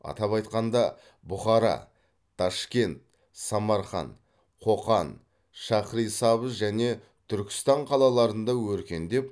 атап айтқанда бұхара ташкент самарқан қоқан шахрисабз және түркістан қалаларында өркендеп